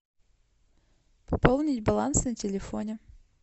пополнить баланс на телефоне